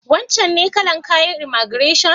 Wancen ne kalar kayan imaigireshon?